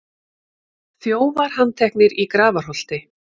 Þjófar handteknir í Grafarholti